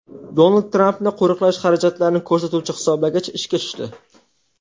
Donald Trampni qo‘riqlash xarajatlarini ko‘rsatuvchi hisoblagich ishga tushdi.